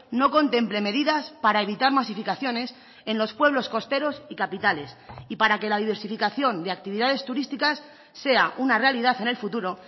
no contemple medidas para evitar masificaciones en los pueblos costeros y capitales y para que la diversificación de actividades turísticas sea una realidad en el futuro